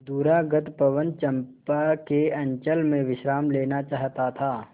दूरागत पवन चंपा के अंचल में विश्राम लेना चाहता था